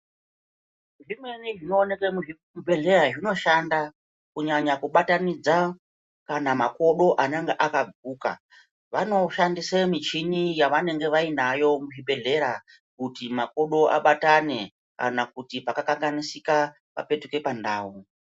Zvimweni zvinooneke muzvibhedhleyayo zvinoshanda kunyanya kubatanidza kana makodo anenge akaguka. Vanoshandise michini yavanenge vainayo muzvibhedhlera kuti makodo abatane kana kuti pakakanganisika papetuke pandau.